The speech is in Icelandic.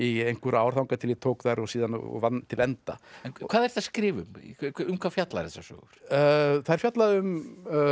í einhver ár þangað til ég tók þær og vann til enda en hvað ertu að skrifa um um hvað fjalla þessar sögur þær fjalla um